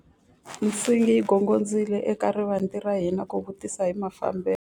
Nsingi yi gongondzile eka rivanti ra hina ku vutisa hi mafambelo.